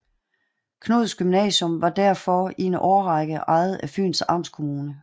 Knuds Gymnasium var derfor i en årrækket ejet af Fyns Amtskommune